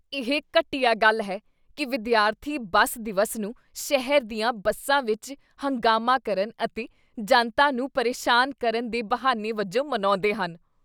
ਇਹ ਘਟੀਆ ਗੱਲ ਹੈ ਕੀ ਵਿਦਿਆਰਥੀ ਬੱਸ ਦਿਵਸ ਨੂੰ ਸ਼ਹਿਰ ਦੀਆਂ ਬੱਸਾਂ ਵਿੱਚ ਹੰਗਾਮਾ ਕਰਨ ਅਤੇ ਜਨਤਾ ਨੂੰ ਪਰੇਸ਼ਾਨ ਕਰਨ ਦੇ ਬਹਾਨੇ ਵਜੋਂ ਮਨਾਉਂਦੇ ਹਨ।